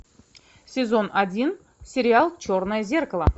сезон один сериал черное зеркало